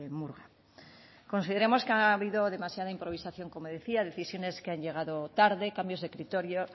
murga consideramos que ha habido demasiada improvisación como decía decisiones que han llegado tarde cambios de criterio